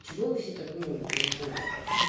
чего вы все так ну я не знаю